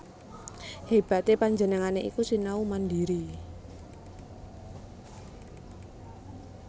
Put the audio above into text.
Hébaté panjenengané iku sinau mandhiri